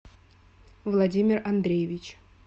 владимир андреевич